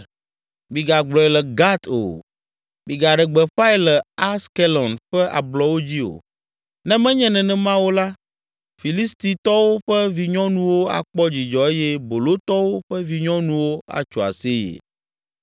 “Migagblɔe le Gat o; migaɖe gbeƒãe le Askelon ƒe ablɔwo dzi o. Ne menye nenema o la, Filistitɔwo ƒe vinyɔnuwo akpɔ dzidzɔ eye bolotɔwo ƒe vinyɔnuwo atso aseye.